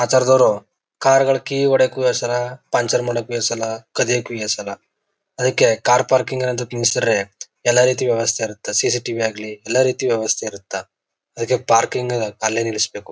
ಆತರದವರು car ಗಳು key ಹೊಡಿಯೋಕು ಹೆಸಲಾ ಪಂಚರ್ ಮಾಡೋಕು ಹೆಸಲಾಕದಿಯೋಕು ಹೆಸಲಾ. ಅದಿಕೆ ಕಾರ್ ಪಾರ್ಕಿಂಗ್ ಅನ್ನೋದು ಕೂರ್ಸಿದ್ರೆ ಎಲ್ಲರೀತಿ ವ್ಯವಸ್ಥೆ ಇರುತ್ತೆ. ಸಿ ಸಿ ಟಿವಿ ಆಗ್ಲಿ ಎಲ್ಲ ರೀತಿ ವ್ಯವಸ್ಥೆ ಇರುತ್ತೆ ಅದಿಕೆ ಪಾರ್ಕಿಂಗ್ ಅಲ್ಲೇ ನಿಲ್ಸ್ಬೇಕು.